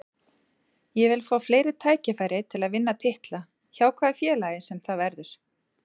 Ég vil fá fleiri tækifæri til að vinna titla, hjá hvaða félagi sem það verður.